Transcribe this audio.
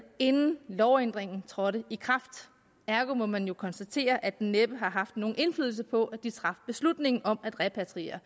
inden lovændringen trådte i kraft ergo må man jo konstatere at den næppe har haft nogen indflydelse på at de traf beslutningen om at repatriere